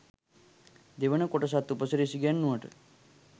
දෙවනි කොටසත් උපසිරැසි ගැන්නුවට.